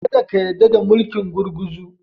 Ka da ka yarda da mulkin gurguzu.